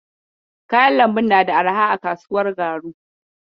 Kayan lambun na da arha a kasuwar Garu?